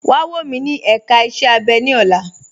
Wà wọ̀ mí ní èká ìṣẹ̀ abẹ̀ ni ọ̀lá.